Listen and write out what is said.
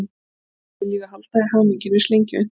Öll viljum við halda í hamingjuna eins lengi og unnt er.